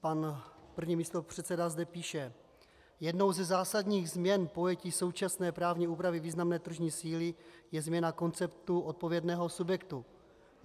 Pan první místopředseda zde píše: "Jednou ze zásadních změn pojetí současné právní úpravy významné tržní síly je změna konceptu odpovědného subjektu.